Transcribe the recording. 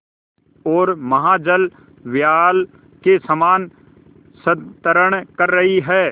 ओर महाजलव्याल के समान संतरण कर रही है